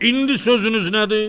İndi sözünüz nədir?